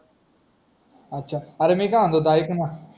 अच्छा अरे मी काय म्हणत होतो ऐक ना